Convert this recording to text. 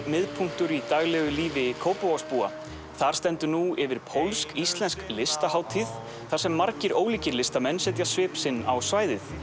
miðpunktur í daglegu lífi Kópavogsbúa þar stendur nú yfir pólsk íslensk listahátíð þar sem margir ólíkir listamenn setja svip sinn á svæðið